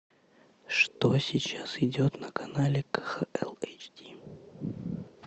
что сейчас идет на канале кхл эйч ди